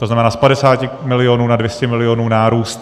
To znamená, z 50 milionů na 200 milionů nárůst.